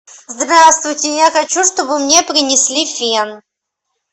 здравствуйте я хочу чтобы мне принесли фен